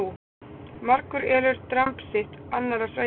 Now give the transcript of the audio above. Margur elur dramb sitt á annarra sveita.